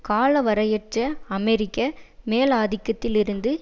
காலவரையற்ற அமெரிக்க மேலாதிக்கத்திலிருந்து